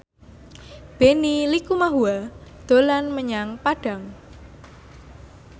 Benny Likumahua dolan menyang Padang